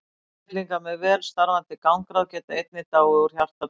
Einstaklingar með vel starfandi gangráð geta einnig dáið úr hjartabilun.